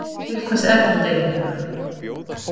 Til hvers er þetta eiginlega?